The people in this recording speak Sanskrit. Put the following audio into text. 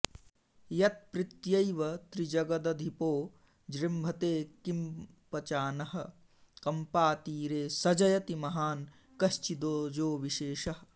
यत्प्रीत्यैव त्रिजगदधिपो जृम्भते किम्पचानः कम्पातीरे स जयति महान्कश्चिदोजोविशेषः